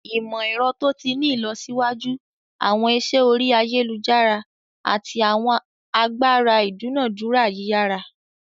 Imọ-ẹrọ to ti ni ilọsiwaju, awọn iṣẹ ori ayelujara, ati awọn agbara idunadura yiyara.